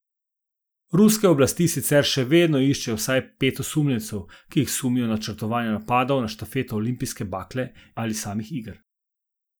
Ruske oblasti sicer še vedno iščejo vsaj pet osumljencev, ki jih sumijo načrtovanja napadov na štafeto olimpijske bakle ali samih iger.